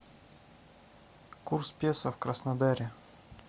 курс песо в краснодаре